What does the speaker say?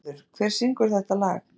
Bernharður, hver syngur þetta lag?